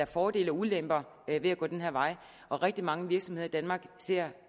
fordele og ulemper ved at gå den her vej og rigtig mange virksomheder i danmark ser